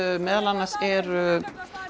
meðal annars eru